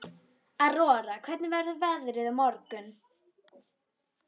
Aurora, hvernig verður veðrið á morgun?